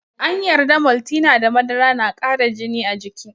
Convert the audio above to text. An yarda Maltina da madara na kara jini a jiki.